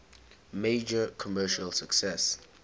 major commercial success